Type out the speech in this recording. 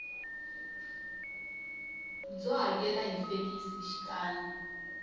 byo hakela hi fekisi xikan